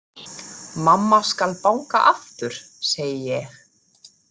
Mamma skal banka aftur, segi ég.